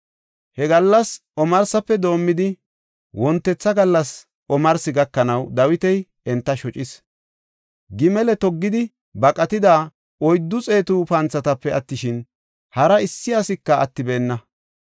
He gallas omarsafe doomidi wontetha gallas omarsi gakanaw Dawiti enta shocis. Gimale toggidi baqatida oyddu xeetu panthatape attishin, hari issi asika attibeenna.